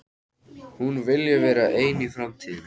Hún vilji vera ein í framtíðinni.